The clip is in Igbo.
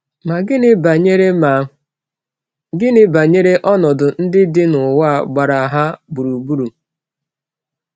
Ma gịnị banyere Ma gịnị banyere ọnọdụ ndị dị n’ụwa gbara ha gburugburu?